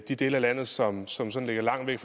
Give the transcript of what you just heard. de dele af landet som som sådan ligger langt væk